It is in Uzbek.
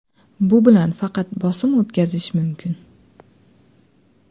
Bu bilan faqat bosim o‘tkazish mumkin.